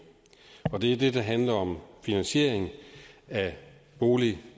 og det er det der handler om finansiering af bolig